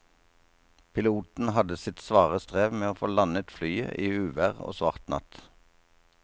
Piloten hadde sitt svare strev med å få landet flyet i uvær og svart natt.